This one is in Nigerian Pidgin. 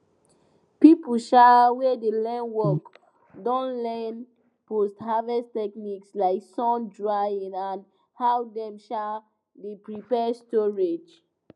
people um wey dey learn work don learn post harvest techniques like sun drying and how dem um dey prepare storage